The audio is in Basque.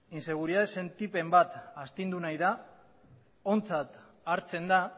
inseguridade sentipen bat astindu nahi da ontzat hartzen da